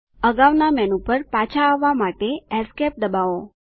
અગાઉના મેનુ પર પાછા આવવા માટે Esc દબાવો